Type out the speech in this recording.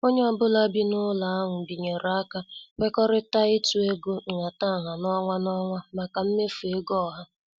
Onye ọ bụla bi n' ụlọ ahụ binyere aka kwekọrịtara ịtụ ego nhataha n' ọnwa n' ọnwa maka mmefu ego ọha.